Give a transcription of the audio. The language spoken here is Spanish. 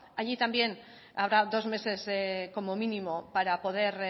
allí también habrá dos meses como mínimo para poder